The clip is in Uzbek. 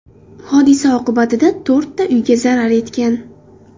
Hodisa oqibatida to‘rtta uyga zarar yetgan.